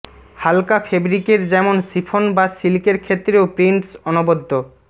হালকা ফেবরিকের যেমন সিফন বা সিল্কের ক্ষেত্রেও প্রিন্টস অনবদ্য